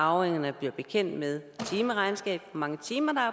at arvingerne bliver bekendt med timeregnskabet hvor mange timer der er